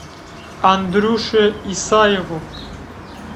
андрюше исаеву